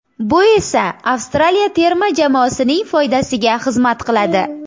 Bu esa Avstraliya terma jamoasining foydasiga xizmat qiladi.